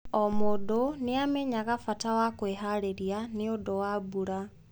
O mũndũ nĩ aamenyaga bata wa kwĩharĩria nĩ ũndũ wa mbura.